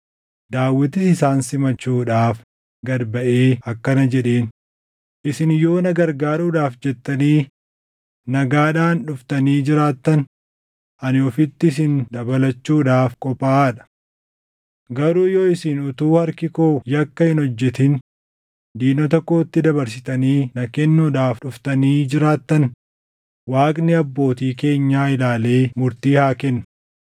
Daawitis isaan simachuudhaaf gad baʼee akkana jedheen; “Isin yoo na gargaaruudhaaf jettanii nagaadhaan dhuftanii jiraattan, ani ofitti isin dabalachuudhaaf qophaaʼaa dha. Garuu yoo isin utuu harki koo yakka hin hojjetin diinota kootti dabarsitanii na kennuudhaaf dhuftanii jiraattan, Waaqni abbootii keenyaa ilaalee murtii haa kennu.”